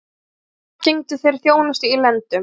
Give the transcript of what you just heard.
Um tíma gegndu þeir þjónustu í lendum